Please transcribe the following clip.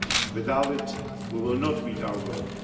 Without it, we will not meet our goal.